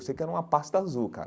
Eu sei que era uma pasta azul, cara.